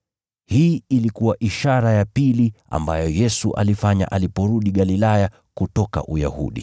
Hii ilikuwa ishara ya pili ambayo Yesu alifanya aliporudi Galilaya kutoka Uyahudi.